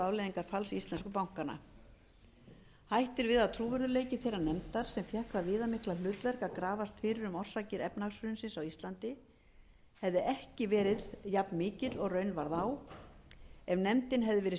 afleiðingar falls íslensku bankanna hætt er við að trúverðugleiki þeirrar nefndar sem fékk það viðamikla hlutverk að grafast fyrir um orsakir efnahagshrunsins á íslandi hefði ekki verið jafnmikill og raunin varð á ef nefndin hefði verið